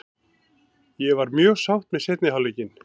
Ég var mjög sátt með seinni hálfleikinn.